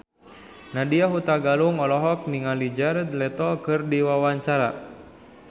Nadya Hutagalung olohok ningali Jared Leto keur diwawancara